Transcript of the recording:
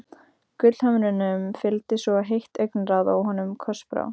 Gullhömrunum fylgdi svo heitt augnaráð að honum krossbrá.